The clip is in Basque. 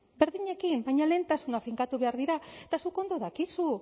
berdinekin baina lehentasunak finkatu behar dira eta zuk ondo dakizu